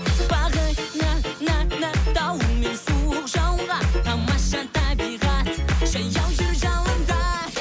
бағына на на дауыл мен суық жауынға тамаша табиғат жаяу жүр жауында